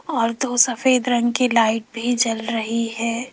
और दो सफेद रंग की लाइट भी जल रही हैं।